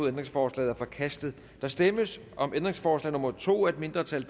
ændringsforslaget er forkastet der stemmes om ændringsforslag nummer to af et mindretal